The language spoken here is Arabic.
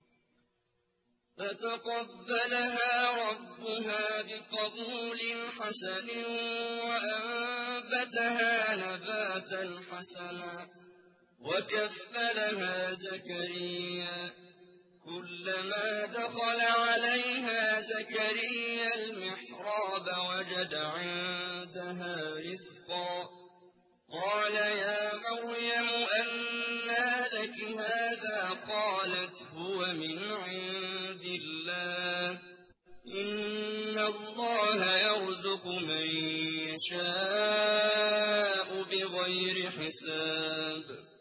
فَتَقَبَّلَهَا رَبُّهَا بِقَبُولٍ حَسَنٍ وَأَنبَتَهَا نَبَاتًا حَسَنًا وَكَفَّلَهَا زَكَرِيَّا ۖ كُلَّمَا دَخَلَ عَلَيْهَا زَكَرِيَّا الْمِحْرَابَ وَجَدَ عِندَهَا رِزْقًا ۖ قَالَ يَا مَرْيَمُ أَنَّىٰ لَكِ هَٰذَا ۖ قَالَتْ هُوَ مِنْ عِندِ اللَّهِ ۖ إِنَّ اللَّهَ يَرْزُقُ مَن يَشَاءُ بِغَيْرِ حِسَابٍ